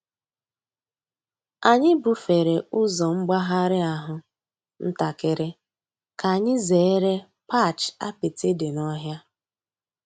Ányị́ búfèré ụ́zọ́ m̀gbàghàrị́ àhú́ ǹtàkị́rị́ kà ányị́ zèéré patch àpịtị́ dị́ n'ọ̀hị́à.